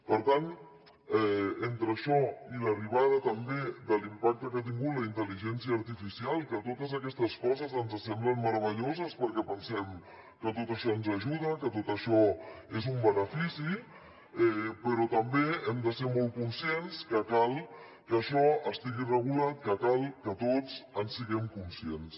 per tant entre això i l’arribada també de l’impacte que ha tingut la intel·ligència artificial que totes aquestes coses ens semblen meravelloses perquè pensem que tot això ens ajuda que tot això és un benefici però també hem de ser molt conscients que cal que això estigui regulat que cal que tots en siguem conscients